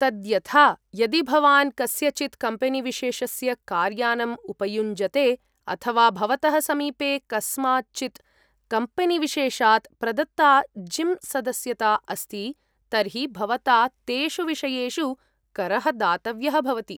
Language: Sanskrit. तद्यथा, यदि भवान् कस्यचित् कम्पेनीविशेषस्य कार्यानम् उपयुञ्जते, अथवा भवतः समीपे कस्माच्चित् कम्प्पेनीविशेषात् प्रदत्ता जिम् सदस्यता अस्ति तर्हि भवता तेषु विषयेषु करः दातव्यः भवति।